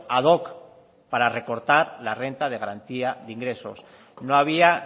ad hoc para recortar la renta de garantía de ingresos no había